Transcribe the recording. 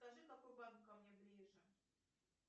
скажи какой банк ко мне ближе